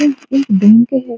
यह एक बैंक है।